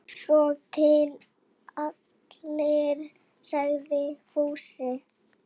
Svo til allir, sagði Finnur.